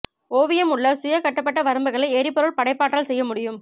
ஓவியம் உள்ள சுய கட்டப்பட்ட வரம்புகளை எரிபொருள் படைப்பாற்றல் செய்ய முடியும்